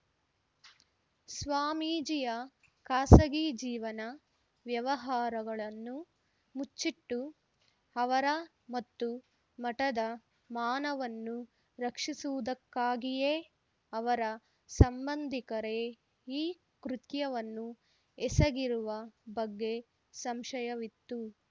ಸ್ವಾಮೀಜಿಯ ಖಾಸಗಿ ಜೀವನ ವ್ಯವಹಾರಗಳನ್ನು ಮುಚ್ಚಿಟ್ಟು ಅವರ ಮತ್ತು ಮಠದ ಮಾನವನ್ನು ರಕ್ಷಿಸುವುದಕ್ಕಾಗಿಯೇ ಅವರ ಸಂಬಂಧಿಕರೇ ಈ ಕೃತ್ಯವನ್ನು ಎಸಗಿರುವ ಬಗ್ಗೆ ಸಂಶಯವಿತ್ತು